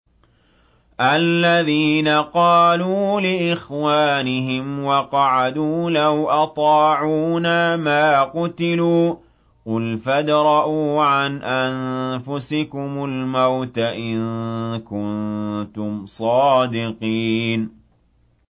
الَّذِينَ قَالُوا لِإِخْوَانِهِمْ وَقَعَدُوا لَوْ أَطَاعُونَا مَا قُتِلُوا ۗ قُلْ فَادْرَءُوا عَنْ أَنفُسِكُمُ الْمَوْتَ إِن كُنتُمْ صَادِقِينَ